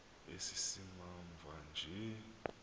esi simamva nje